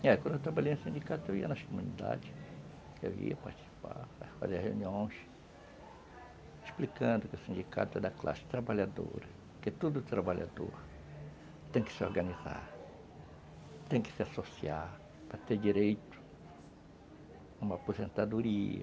É, quando eu trabalhei no sindicato, eu ia nas comunidades, eu ia participar, fazer reuniões, explicando que o sindicato é da classe trabalhadora, que todo trabalhador tem que se organizar, tem que se associar para ter direito a uma aposentadoria,